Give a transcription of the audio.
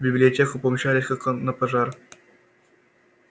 в библиотеку помчались как на пожар